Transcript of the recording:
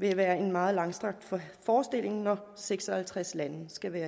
vil være en meget langstrakt forestilling når seks og halvtreds lande skal være